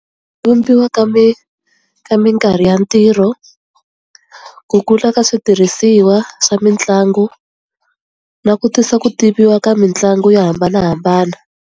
Vumbiwa ka ka minkarhi ya ntirho, ku kula ka switirhisiwa swa mitlangu, na ku tisa ku tiviwa ka mitlangu yo hambanahambana.